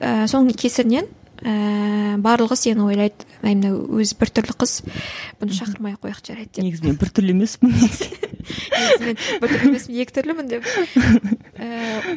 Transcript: і соның кесірінен ііі барлығы сені ойлайды әй мынау өзі біртүрлі қыз бұны шақырмай ақ қояйық жарайды деп негізінен бір түрлі емеспін негізі мен біртүрлі емес екі түрлімін деп ііі